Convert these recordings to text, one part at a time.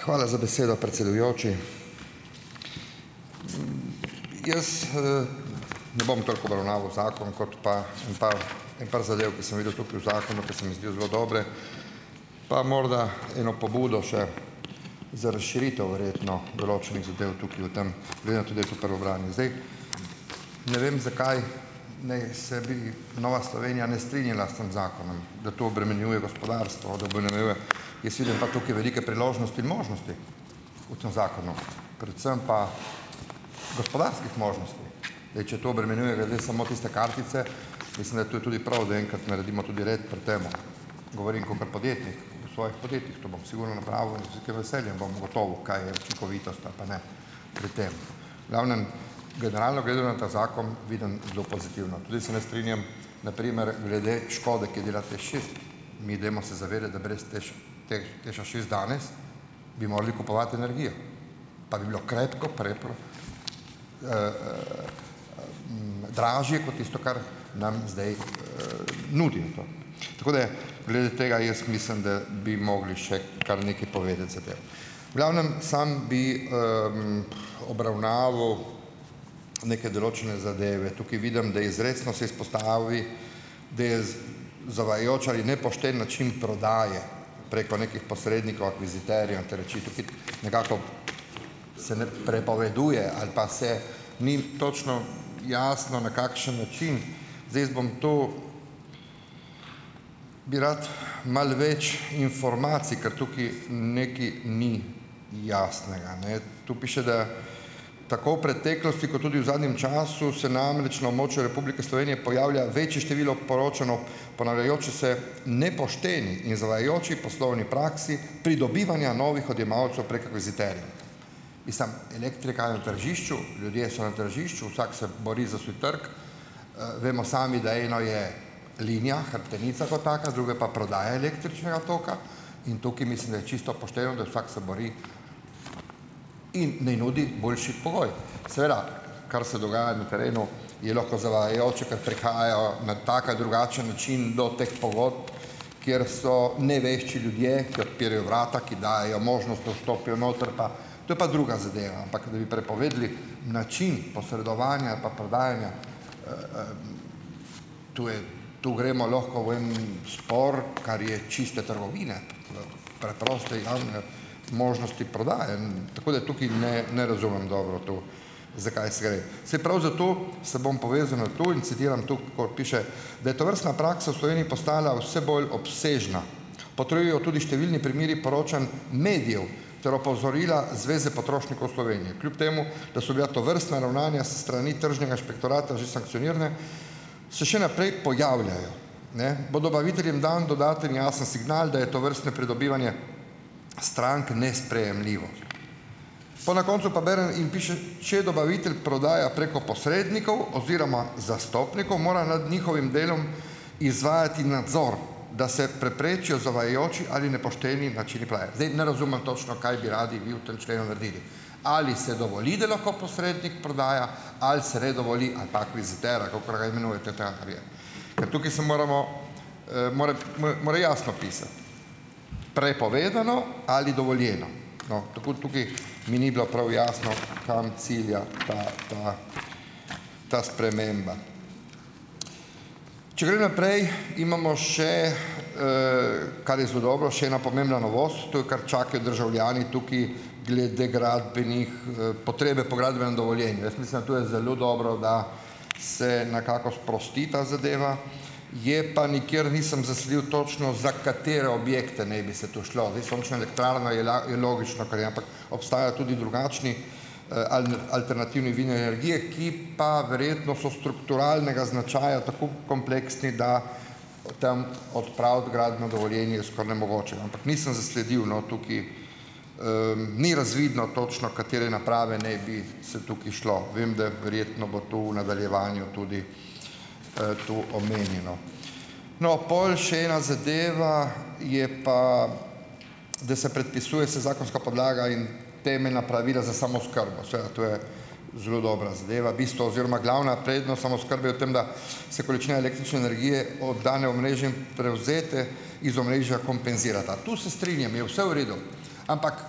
Hvala z besedo, predsedujoči! Jaz, ne bom toliko obravnaval zakon, kot pa en par, en par zadev, ki sem videl tukaj v zakonu, ki se mi zdijo zelo dobre, pa morda eno pobudo še, za razširitev verjetno, določenih zadev tukaj o tem, glede na to, da je to prvo branje. Zdaj, ne vem, zakaj ne se bi Nova Slovenija ne strinjala s tem zakonom, da to obremenjuje gospodarstvo, da obremenjuje. Jaz vidim pa tukaj velike priložnosti in možnosti, v tem zakonu, predvsem pa gospodarskih možnosti. Zdaj, če to obremenjuje glede samo tiste kartice, mislim, da je to tudi prav, da enkrat naredimo tudi red pri tem. Govorim kakor podjetnik. V svojih podjetjih to bom sigurno napravil in z velikim veseljem bom ugotovil, kaj je učinkovitost ali pa ne pri tem. V glavnem, generalno gledano, ta zakon vidim zelo pozitivno. Tudi se ne strinjam, na primer, glede škode, mi dajmo se zavedati, da brez TEŠ teh bi morali kupovati energijo, pa bi bilo krepko Dražje kot tisto, kar nam zdaj, nudi to. Tako da glede tega jaz mislim, da bi mogli še kar nekaj povedati zadev. V glavnem, sam bi, obravnaval neke določene zadeve. Tukaj vidim, da izrecno se izpostavi, da je zavajajoč ali nepošten način prodaje preko nekih posrednikov, akviziterjev in te reči. Tukaj nekako se ne prepoveduje ali pa se, ni točno jasno, na kakšen način. Zdaj, jaz bom to, bi rad, malo več informacij, ker tukaj nekaj ni jasnega, ne? Tu piše, da tako v preteklosti kot tudi v zadnjem času se namreč na območju Republike Slovenije pojavlja večje število poročano, ponavljajoče se, nepoštene in zavajajoče poslovne prakse pridobivanja novih odjemalcev prek akviziterjev. Mislim, elektrika je v tržišču, ljudje so na tržišču. Vsak se bori za svoj trg. Vemo sami, da eno je linija, hrbtenica kot taka, drugo je pa prodaja električnega toka, in tukaj mislim, da je čisto pošteno, da vsak se bori in naj nudi boljši pogoj. Seveda, kar se dogaja na terenu, je lahko zavajajoče, ker prehajajo na tak ali drugačen način do teh pogodb, kjer so nevešči ljudje, ki odpirajo vrata, ki dajejo možnost, da vstopijo notri, pa, to je pa druga zadeva, ampak da bi prepovedali način posredovanja ali pa prodajanja, to je, to gremo lahko v en spor, kar je čiste trgovine, preproste javne možnosti prodaje. Tako da tukaj ne, ne razumem dobro to, za kaj se gre. Saj prav zato se bom povezal na to in citiram to, kakor piše: "Da je tovrstna praksa v Sloveniji postala vse bolj obsežna, potrjujejo tudi številni primeri poročanj medijev ter opozorila Zveze potrošnikov Slovenije." Kljub temu da so bila tovrstna ravnanja s strani tržnega inšpektorata že sankcionirane, se še naprej pojavljajo. Ne, "bo dobaviteljem dan dodaten jasen signal, da je tovrstno pridobivanje strank nesprejemljivo". Pol na koncu pa berem in piše: "Če dobavitelj prodaja preko posrednikov oziroma zastopnikov, mora nad njihovim delom izvajati nadzor, da se preprečijo zavajajoči ali nepošteni načini Zdaj ne razumem točno, kaj bi radi vi v tem členu naredili? Ali se dovoli, da lahko posrednik prodaja ali se ne dovoli, ali pa akviziter, ali kakor ga imenujete. Ker tukaj se moramo, mora mora jasno pisati. Prej povedano ali dovoljeno. No, tako, tukaj, mi ni bilo prav jasno, kam cilja ta, ta, ta sprememba. Če grem naprej, imamo še, kar je zelo dobro, še ena pomembna novost, to je, kar čakajo državljani tukaj, glede gradbenih, potrebe po gradbenem dovoljenju. Jaz mislim, to je zelo dobro, da se nekako sprosti ta zadeva, je pa nikjer nisem zasledil, točno za katere objekte naj bi se to šlo. Zdaj, sončna elektrarna je le, je logično, kar je, ampak, obstajajo tudi drugačni, alternativni zunaj energije, ki pa verjetno so strukturalnega značaja, tako kompleksni da, o tem odpraviti gradnjo o dovoljenju je skoraj nemogoče, ampak nisem zasledil, no, tukaj, ni razvidno točno, katere naprave naj bi, se tukaj šlo. Vem, da verjetno bo to v nadaljevanju tudi, tu omenjeno. No, pol še ena zadeva je pa, da se predpisuje vsa zakonska podlaga in temeljna pravila za samooskrbo. Seveda, to je zelo dobra zadeva. Bistvo oziroma glavna prednost samooskrbe je v tem, da se količina električne energije o danem omrežju prevzete iz omrežja kompenzirata. To se strinjam, je vse v redu. Ampak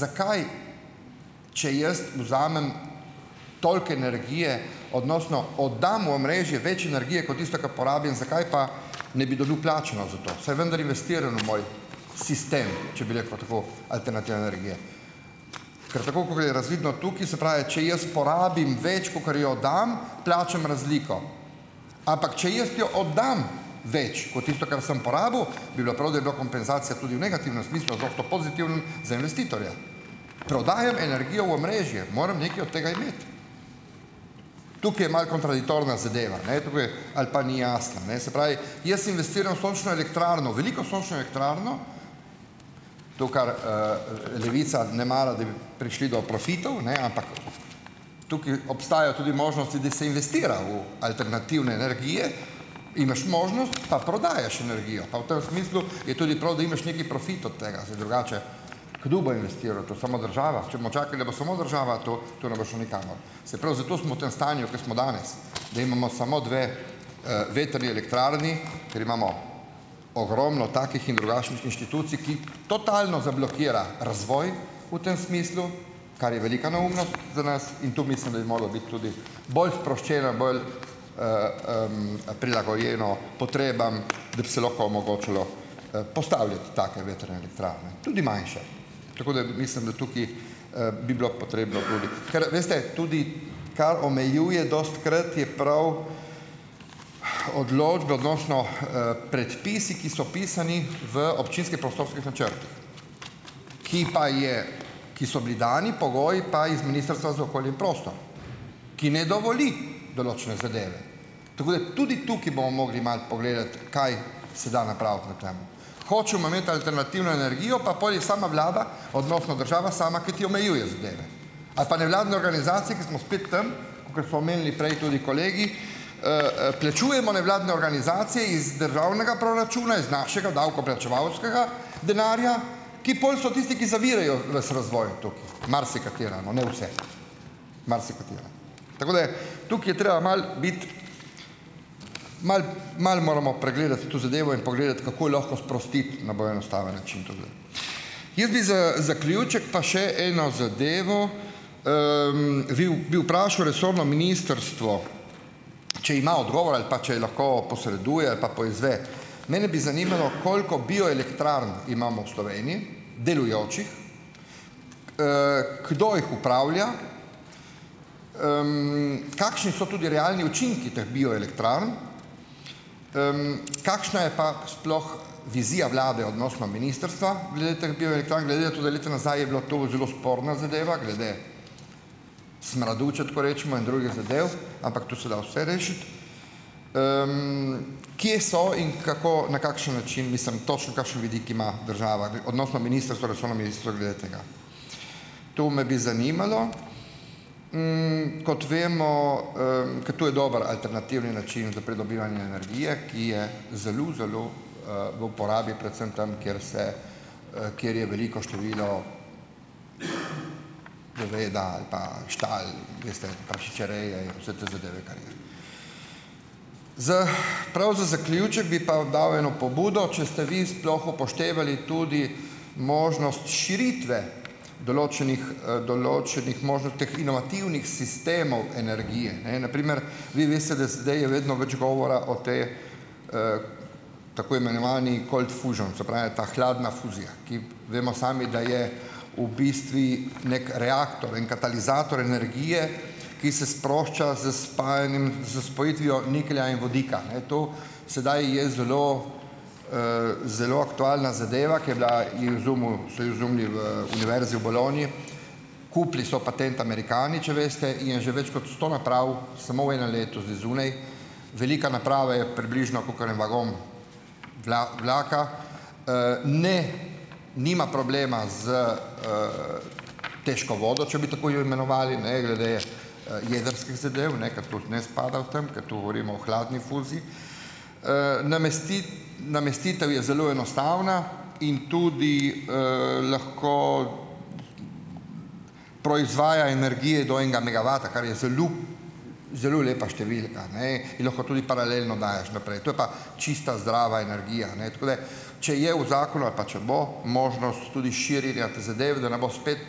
zakaj, če jaz vzamem toliko energije odnosno oddam v omrežje več energije kot tisto, kar porabim, zakaj pa ne bi dobil plačano za to, saj vendar investiram v moj sistem, če bi rekel tako, alternativne energije. Ker tako, kot je razvidno tukaj, se pravi, če jaz porabim več, kakor jo oddam, plačam razliko, ampak če jaz jo oddam več kot tisto, kar sem porabil, bi bilo prav, da bi bila kompenzacija tudi v negativnem smislu odnosno pozitivnem za investitorja. Prodajam energijo v omrežje, moram nekaj od tega imeti. Tukaj je malo kontradiktorna zadeva, ne, ali pa ni jasna, ne. Se pravi, jaz investiram v sončno elektrarno, veliko sončno elektrarno, to, kar, Levica ne mara, da bi prišli do profitov, ne, ampak tukaj obstajajo tudi možnosti, da se investira v alternativne energije, imaš možnost, pa prodajaš energijo. Pa v tem smislu je tudi prav, da imaš nekaj profita od tega, saj drugače kdo bo investiral v to, samo država. Če bomo čakali, da bo samo država, to to ne bo šlo nikamor. Saj prav zato smo v tem stanju, ko smo danes, da imamo samo dve, vetrni elektrarni, ker imamo ogromno takih in drugačnih inštitucij, ki totalno zablokirajo razvoj v tem smislu, kar je velika neumnost za nas, in to mislim, da bi moralo biti tudi bolj sproščeno, bolj, prilagojeno potrebam, da bi se lahko omogočalo, postavljati take vetrne elektrarne, tudi majnše. Tako da mislim, da tukaj, bi bilo potrebno tudi ... Ker veste, tudi kar omejuje dostikrat, je prav odločbe odnosno, predpisi, ki so pisani v občinskih prostorskih načrtih, ki pa je, ki so bili dani pogoji pa iz Ministrstva za okolje in prostor, ki ne dovoli določene zadeve. Tako da tudi tukaj bomo mogli malo pogledati, kaj se da napraviti na tem. Hočemo imeti alternativno energijo, pa potem jih sama vlada odnosno država sama, ki ti omejuje zadeve, ali pa nevladne organizacije, ko smo spet tam, kakor so omenili prej tudi kolegi, plačujemo nevladne organizacije iz državnega proračuna, iz našega davkoplačevalskega denarja, ki pol so tisti, ki zavirajo ves razvoj, marsikatera, no, ne vse, marsikatera. Tako da tukaj je treba malo biti, malo moramo pregledati to zadevo in pogledati, kako lahko sprostiti na bolj enostaven način, Jaz bi z zaključek pa še eno zadevo. Vi, bi vprašal resorno ministrstvo, če ima odgovor ali pa če lahko posreduje ali pa poizve. Mene bi zanimalo, koliko bioelektrarn imamo v Sloveniji delujočih, kdo jih upravlja, kakšni so tudi realni učinki teh bioelektrarn, kakšna je pa sploh vizija vlade odnosno ministrstva glede teh bioelektrarn glede na to, da leta nazaj je bilo to zelo sporna zadeva glede smradu, če tako rečemo, in drugih zadev, ampak tu se da vse rešiti. Kje so in kako, na kakšen način, mislim, točno kakšen vidik ima država odnosno ministrstvo, resorno ministrstvo glede tega. To me bi zanimalo. Kot vemo, ker to je dobro alternativni način za pridobivanje energije, ki je zelo, zelo, v uporabi predvsem tam, kjer se, kjer je veliko število goveda ali pa štal, veste, prašičereje in vse te zadeve, kar je. Z, prav z zaključek bi pa dal eno pobudo, če ste vi sploh upoštevali tudi možnost širitve določenih, določenih teh inovativnih sistemov energije, ne. Na primer vi veste, da zdaj je vedno več govora o tej, tako imenovani "cold fusion", se pravi ta hladna fuzija, ki vemo sami, da je v bistvu neki reaktor in katalizator energije, ki se sprošča s spajanjem, s spojitvijo niklja in vodika, ne to. Sedaj je zelo, zelo aktualna zadeva, ki je bila, jo je izumil, so jo izumili v Univerzi v Bologni. Kupili so patent Američani, če veste, in je že več kot sto naprav samo v enem letu zdaj zunaj. Velika naprava je približno kakor en vagon vlaka. Ne, nima problema s, težko vodo, če bi tako jo imenovali, glede, jedrskih zadev, ne, ker to ne spada v tem, ker tu govorimo o hladni fuziji. Namestitev je zelo enostavna in tudi, lahko proizvaja energije do enega megavata, kar je zelo zelo lepa številka, ne, in lahko tudi paralelno daješ naprej. To je pa čista, zdrava energija. Tako da, če je v zakonu ali pa če bo možnost tudi širjenja te zadeve, da ne bo spet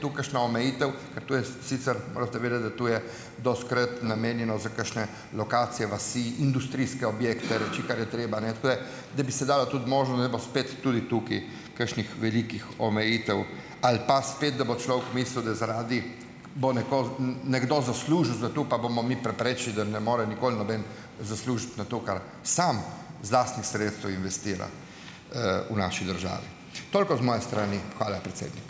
tu kakšna omejitev, ker to je sicer, morate vedeti, da to je dostikrat namenjeno za kakšne lokacije, vasi, industrijske objekte, reči, kar je treba, ne, tako da da bi se dalo tudi možnost, da ne bo spet tudi tukaj kakšnih velikih omejitev, ali pa spet, da bo človek mislil, da zaradi bo nekdo zaslužil, zato pa bomo mi preprečili, da ne more nikoli noben zaslužiti na to, kar sam iz lastnih sredstev investira, v naši državi. Toliko z moje strani. Hvala predsednik.